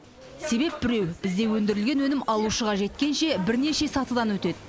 себеп біреу бізде өндірілген өнім алушыға жеткенше бірнеше сатыдан өтеді